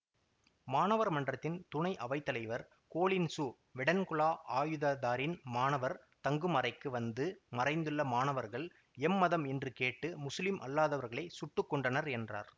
மாணவர் மன்றத்தின் துணை அவைத்தலைவர் கோலின்சு வெடன்குலா ஆயுததாரிகள் மாணவர் தங்கும் அறைக்கு வந்து மறைந்துள்ள மாணவர்கள் எம்மதம் என்று கேட்டு முசுலிம் அல்லாதவர்களை சுட்டு கொன்றனர் என்றார்